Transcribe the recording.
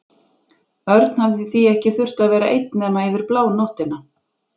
Örn hafði því ekki þurft að vera einn nema yfir blánóttina.